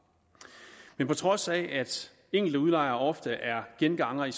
på trods af at enkelte udlejere ofte er gengangere i